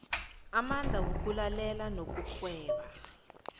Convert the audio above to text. amandla wokulalela nokugweba